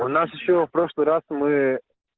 у нас ещё в прошлый раз мы